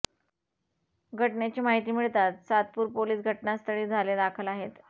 घटनेची माहिती मिळताच सातपूर पोलीस घटनास्थळी झाले दाखल आहेत